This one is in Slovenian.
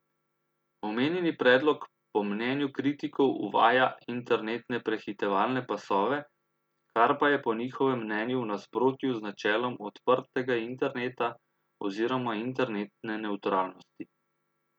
Omenjeni predlog po mnenju kritikov uvaja internetne prehitevalne pasove, kar pa je po njihovem mnenju v nasprotju z načelom odprtega interneta oziroma internetne nevtralnosti.